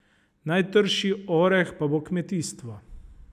Najtrši oreh pa bo kmetijstvo.